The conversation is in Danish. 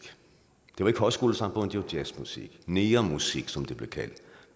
det var ikke højskolesangbogen det var jazzmusik negermusik som det blev kaldt